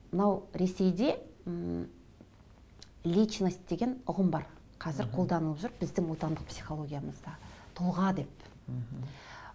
мынау ресейде ммм личность деген ұғым бар қазір қолданылып жүр біздің отандық психологиямызда тұлға деп мхм